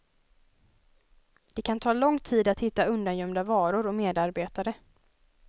Det kan ta lång tid att hitta undangömda varor och medarbetare.